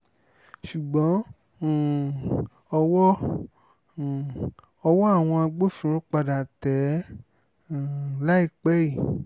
ṣùgbọ́n um ọwọ́ um ọwọ́ àwọn agbófinró padà tẹ̀ ẹ́ um láìpẹ́ yìí